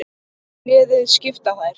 Liðið skipa þær